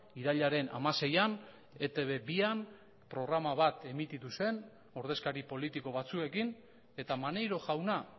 irailaren hamaseian etb bian programa bat emititu zen ordezkari politiko batzuekin eta maneiro jauna